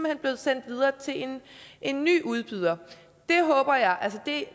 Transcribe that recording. er blevet sendt videre til en ny udbyder det